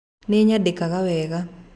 Niĩ nyandĩkaga wega.